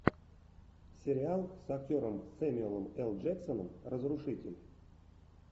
сериал с актером сэмюэлем л джексоном разрушитель